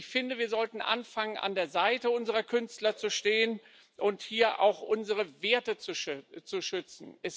Ich finde, wir sollten anfangen, an der Seite unserer Künstler zu stehen und hier auch unsere Werte zu schützen.